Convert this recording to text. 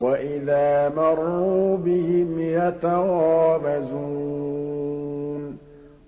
وَإِذَا مَرُّوا بِهِمْ يَتَغَامَزُونَ